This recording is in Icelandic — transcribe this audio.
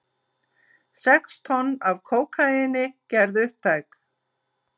Sex tonn af kókaíni gerð upptæk